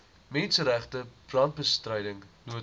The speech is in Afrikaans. menseregte brandbestryding noodhulp